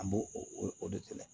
An b'o o o de kɛlɛ